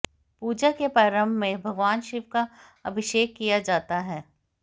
पूजा के प्रारम्भ में भगवान शिव का अभिषेक किया जाता है